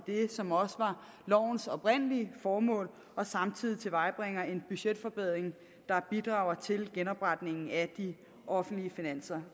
som også var lovens oprindelige formål og samtidig tilvejebringer en budgetforbedring der bidrager til genopretningen af de offentlige finanser